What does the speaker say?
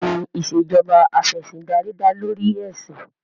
Bẹ́ẹ̀ni ìṣèjoba Af'ẹ̀sìndarí dá lórí ẹ̀sìn